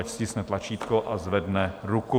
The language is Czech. Ať stiskne tlačítko a zvedne ruku.